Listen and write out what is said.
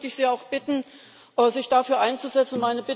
Da möchte ich Sie auch bitten, sich dafür einzusetzen.